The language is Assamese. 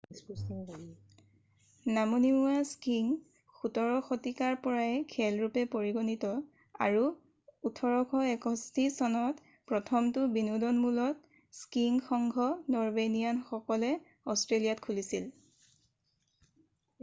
নামনিমুৱা স্কিইং 17 শতিকাৰ পৰাই খেল ৰূপে পৰিগণিত আৰু 1861চনত প্ৰথমটো বিনোদনমূলক স্কিইং সংঘ নৰৱেনিয়ান সকলে অষ্ট্ৰেলিয়াত খুলিছিল